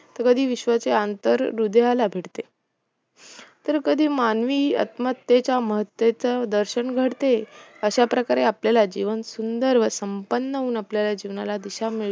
तर कधी विश्वाचे अंतर हृदयाला भिडते तर कधी मानवी आत्महतेच्या महत्तेचे दर्शन घडते, अश्याप्रकारे आपल्याला जीवन सुंदर व संपन्न होऊन आपल्या जीवनाला दिशा मिळू